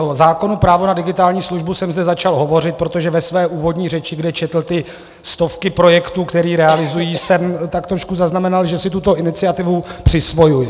O zákonu právo na digitální službu jsem zde začal hovořit, protože ve své úvodní řeči, kde četl ty stovky projektů, které realizují, jsem tak trošku zaznamenal, že si tuto iniciativu přisvojuje.